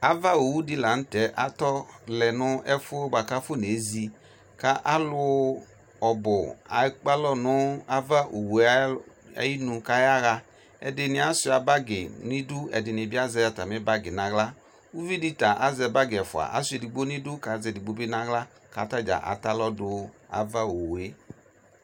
Ava owʋdɩ lanʋtɛ atɔlɛ nʋ ɛfʋzɩ kʋ alu ɔbʋ ekpe alɔ nʋ ava owue ayʋ inu kʋ ayaɣa ɛdɩnɩ asuɩa bagɩ nʋ idu kʋ ɛdɩnɩ azɛ atamɩ sʋyɛ nʋ aɣla ʋvɩdɩ ta azɛ bagɩ ɛfua asuɩa edigbo nʋ idu kʋ azɛ edigbobɩ nʋ aɣla kʋ atadzaa atɛ alɔ dʋ avaowue